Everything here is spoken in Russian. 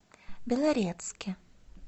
белорецке